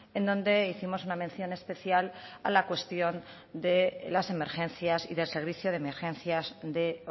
en donde hicimos una mención especial a la cuestión de las emergencias y del servicio de emergencias de